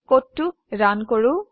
কোডটো ৰান কৰো